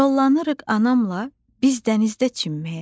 Yollanırıq anamla biz dənizdə çimməyə.